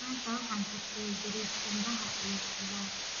Maanta waxaan karsaday bariis qumbaha iyo khudaar.